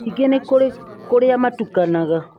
ningĩ nĩ kũrĩ kũrĩa matukanaga